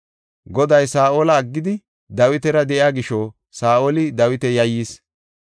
Goday Saa7ola aggidi Dawitara de7iya gisho Saa7oli Dawita yayyis.